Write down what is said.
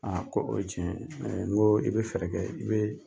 Aa ko o ye tiɲɛ n ko i bɛ fɛɛrɛ kɛ i bɛ